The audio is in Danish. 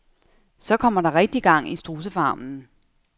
Så kommer der rigtig gang i strudsefarmen.